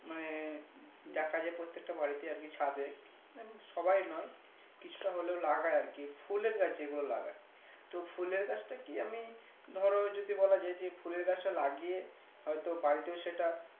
মানে দেখা যাই প্রত্যেকটা বাড়িতে আরকি ছাদে মানে সবাই নই কিছুটা হলেও লাগাই আরকি ফুলের গাছ যে গুলো লাগায় তো ফুলের গাছটা কি আমি ধরো যদি বলা যাই ফুলের গাছটা লাগিয়ে হয়তো বাড়িতে সেটা